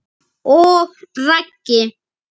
Og Raggi?